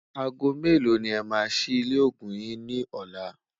àgọ̀ mẹ̀lò ní é má sí ilé ògún yín ní ọlá?